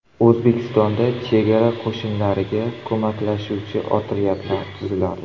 O‘zbekistonda chegara qo‘shinlariga ko‘maklashuvchi otryadlar tuziladi.